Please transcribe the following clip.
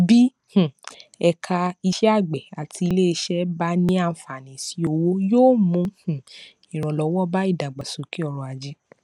bí um ẹka iṣẹàgbẹ àti iléiṣẹ bá ní àǹfààní sí owó yóò mú um ìrànlọwọ bá ìdàgbàsókè ọrọajé